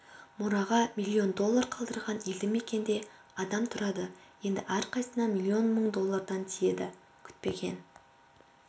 мұраға миллион доллар қалдырған елді мекенде адам тұрады енді әрқайсысына миллион мың доллардан тиеді күтпеген